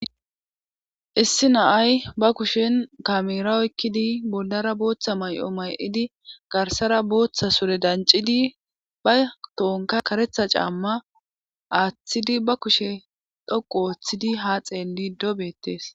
Issi naay ba kushen kamera oykkidi boldara booththa may'o may7idi garsara booththa sure dancidi ba toonka karetha caamma aaththidi ba kushe dhoqu ooththidi ha xeelli dobettes.